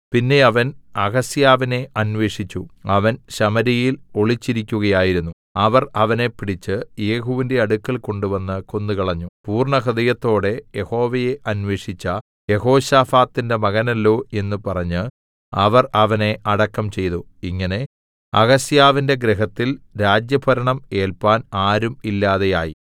പിന്നെ അവൻ അഹസ്യാവിനെ അന്വേഷിച്ചു അവൻ ശമര്യയിൽ ഒളിച്ചിരിക്കയായിരുന്നു അവർ അവനെ പിടിച്ച് യേഹൂവിന്റെ അടുക്കൽ കൊണ്ടുവന്ന് കൊന്നുകളഞ്ഞു പൂർണ്ണഹൃദയത്തോടെ യഹോവയെ അന്വേഷിച്ച യെഹോശാഫാത്തിന്റെ മകനല്ലോ എന്നു പറഞ്ഞ് അവർ അവനെ അടക്കം ചെയ്തു ഇങ്ങനെ അഹസ്യാവിന്റെ ഗൃഹത്തിൽ രാജ്യഭരണം ഏൽപ്പാൻ ആരും ഇല്ലാതെയായി